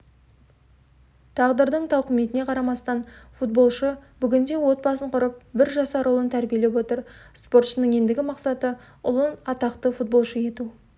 тағдырдың тауқымытіне қарамастан футболшы бүгінде отбасын құрып бір жасар ұлын тәрбиелеп отыр спортшының ендігі мақсаты ұлын атақты футбошы ету